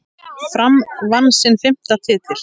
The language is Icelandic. Fram vann sinn fimmta titil.